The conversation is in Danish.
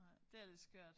Nej. Det er lidt skørt